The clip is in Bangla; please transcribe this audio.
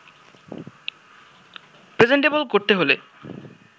প্রেজেন্টেবল করতে হলে